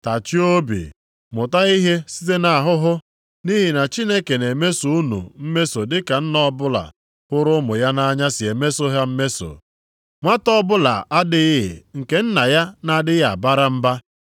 Tachie obi, mụta ihe site nʼahụhụ. Nʼihi na Chineke na-emeso unu mmeso dị ka nna ọbụla hụrụ ụmụ ya nʼanya si emeso ha mmeso. Nwata ọbụla adịghị nke nna ya na-adịghị abara mba.